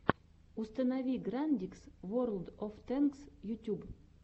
установи грандикс ворлд оф тэнкс ютюб